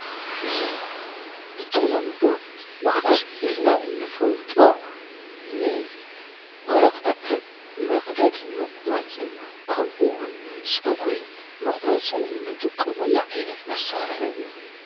እዙ ብተሎምዶ መቐስ ኢልና እንፈልጦ ንወረቓት መቕደድን ምቝረጽን ከምኡህን ጸጕሪ ምቝረጽ እንጥቀሙኣ ዓይነት መሣርሑ እዩ።